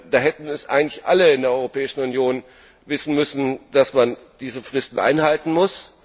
Da hätten eigentlich alle in der Europäischen Union wissen müssen, dass man diese Fristen einhalten muss.